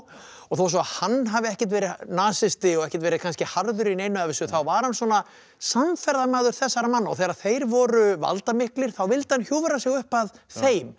og þó svo hann hafi ekkert verið nasisti og ekkert verið kannski harður í neinu af þessu þá var hann svona samferðamaður þessara manna og þegar þeir voru valdamiklir þá vildi hann hjúfra sig upp að þeim